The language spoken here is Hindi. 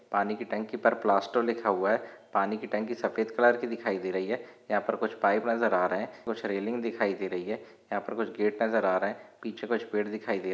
पानी की टंकी पर प्लास्टो लिखा हुआ है। पानी की टंकी सफ़ेद कलर की दिखाई दे रही है। यहाँ पर कुछ पाइप नजर आ रहे है कुछ रेलिंग दिखाई दे रही है। यहा पर कुछ गेट नजर आ रहे है पीछे कुछ पेड़ दिखाई दे--